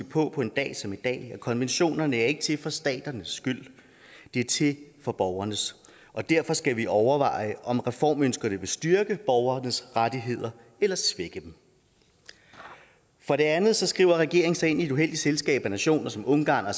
på på en dag som i at konventionerne ikke er til for staternes skyld de er til for borgernes og derfor skal vi overveje om reformønskerne vil styrke borgernes rettigheder eller svække dem for det andet skriver regeringen sig ind i et uheldigt selskab af nationer som ungarn